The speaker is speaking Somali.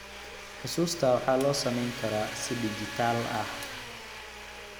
Xusuusta waxaa loo samayn karaa si dhijitaal ah.